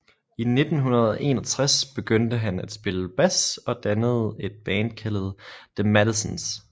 I 1961 begyndte han at spille bas og dannede et band kaldet The Madisons